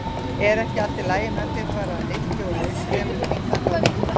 Er ekki allt lagi með þig? svaraði Nikki og leit fremur stingandi á Tomma.